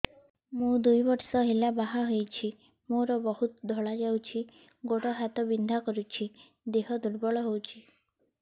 ମୁ ଦୁଇ ବର୍ଷ ହେଲା ବାହା ହେଇଛି ମୋର ବହୁତ ଧଳା ଯାଉଛି ଗୋଡ଼ ହାତ ବିନ୍ଧା କରୁଛି ଦେହ ଦୁର୍ବଳ ହଉଛି